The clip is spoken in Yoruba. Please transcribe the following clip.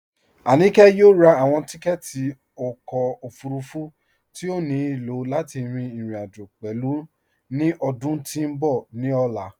Aníkẹ yọ̀ò rá awọn tìkẹ̀tì ọkọ ofúrúfú tí o ní ilọ̀ láti rin irin-ajo pẹ̀lú ni ọdún tí n bọ̀ ni ọlá